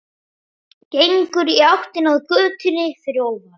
Gengur í áttina að götunni fyrir ofan.